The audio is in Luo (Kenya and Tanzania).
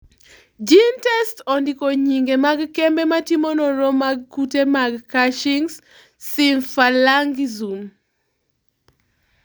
GeneTests ondiko nyinge mag kembe matimo nonro mag kute mag Cushing's symphalangism.